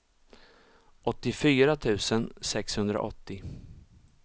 åttiofyra tusen sexhundraåttio